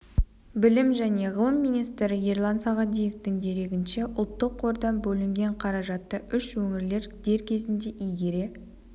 білім және ғылым министрі ерлан сағадиевтің дерегінше ұлттық қордан бөлінген қаражатты үш өңір дер кезінде игере